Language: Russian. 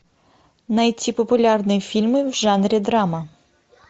найти популярные фильмы в жанре драма